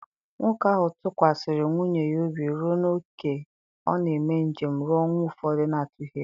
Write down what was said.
Nwoke ahụ tụkwasịrị nwunye ya obi ruo n’ókè ọ na-eme njem ruo ọnwa ụfọdụ n’atụghị egwu.